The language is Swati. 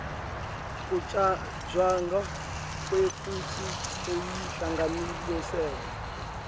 kucatjangwa kwekutsi uyihlanganisela